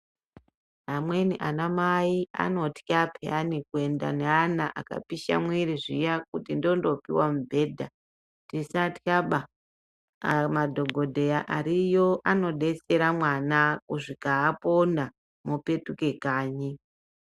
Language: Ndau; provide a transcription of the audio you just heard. Amweni ana mai anotya peyani kuenda neana akapisha mwiri zviya kuti ndondopiwa mubhedha. Tisatyaba, madhokodheya ariyo anodetsera mwana kusvika apona mopetuke kanyi.